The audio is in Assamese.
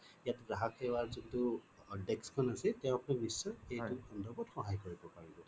ইয়াত গ্ৰাহক সেৱাৰ যোনটো desk খন আছে তেওঁক নিশ্চয় এইটো সন্ধৰবত সহায় কৰিব পাৰিব